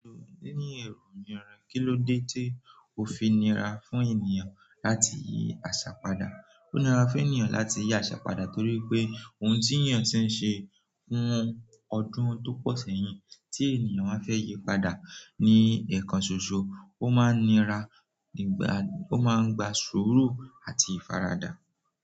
Ni ni eru ni ara, kí lọ́ dé tí o fi nira fún ènìyàn láti yi àṣà padà? Ó nira fún ènìyàn láti yi àṣà padà torí pé ohun tí èeyàn ti ń ṣe fún ọdún tó pọ̀ sẹ́yìn tí ènìyàn wa fẹ́ yí padà ni ẹ̀ekan ṣoṣo, ó máa n nira, ìgbà ó máa ń gba sùúrù àti ìfaradà.